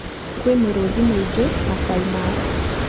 Kwĩ mĩrũthi mĩĩngĩ maasai mara.